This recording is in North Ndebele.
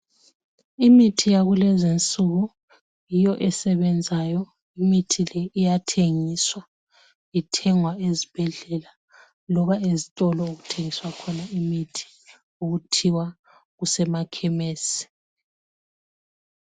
Imithi yakulezi insuku yiyo esebenzayo imithi le iyathengiswa ithengwa ezibhedlela loba ezitolo okuthengiswa khona imithi okuthiwa kusemakhemesi.